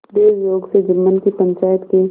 दैवयोग से जुम्मन की पंचायत के